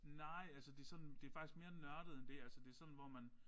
Nej altså det sådan det faktisk mere nørdet end det altså det sådan hvor man